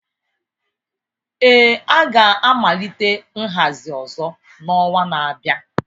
Ee, a ga-amalite nhazi ọzọ n'ọnwa na-abịa